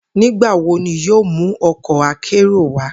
Nigbawo ni yoo mu ọkọ akero wa?